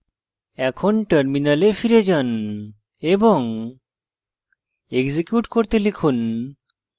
এখন terminal ফিরে যান এবং execute করতে লিখুন